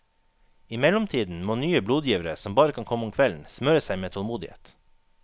I mellomtiden må nye blodgivere som bare kan komme om kvelden, smøre seg med tålmodighet.